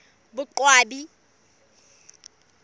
boqwabi